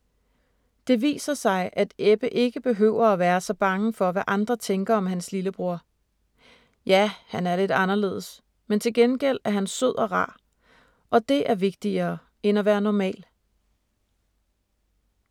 Det viser sig, at Ebbe ikke behøver at være så bange for, hvad andre tænker om hans lillebror. Ja, han er lidt anderledes, men til gengæld er han sød og rar, og det er vigtigere end at være normal.